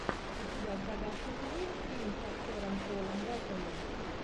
у тебя в загашнике есть фильм с актером полом беттани